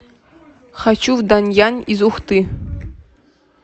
хочу в данъян из ухты